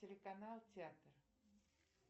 телеканал театр